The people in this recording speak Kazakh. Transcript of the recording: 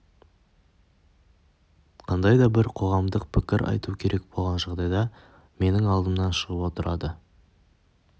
қандай да бір қоғамдық пікір айту керек болған жағдайда менің алдымнан шығып отырады